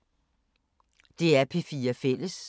DR P4 Fælles